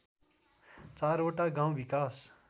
चारवटा गाउँ विकास